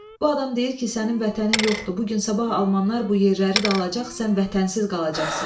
Bu adam deyir ki, sənin vətənin yoxdur, bu gün-sabah almanlar bu yerləri də alacaq, sən vətənsiz qalacaqsan.